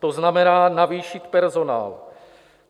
To znamená, navýšit personál.